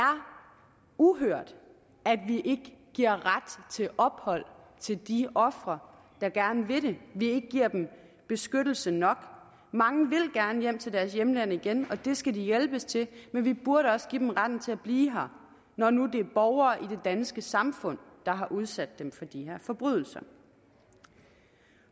uhørt at vi ikke giver ret til ophold til de ofre der gerne vil have vi ikke giver dem beskyttelse nok mange vil gerne hjem til deres hjemland igen og det skal de hjælpes til men vi burde også give dem retten til at blive her når nu det er borgere i det danske samfund der har udsat dem for de her forbrydelser